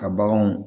Ka baganw